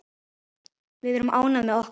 Við erum ánægð með okkar.